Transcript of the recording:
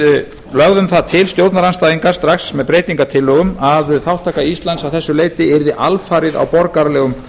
við lögðum það til stjórnarandstæðingar strax með breytingartillögu að þátttaka íslands að þessu leyti yrði alfarið á borgaralegum